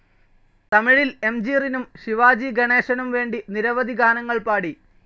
തമിഴിൽ M G റിനും ശിവാജി ഗണേശനും വേണ്ടി നിരവധി ഗാനങ്ങൾ പാടി.